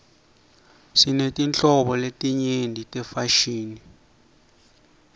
sinetinhlobo letenyeti tefashini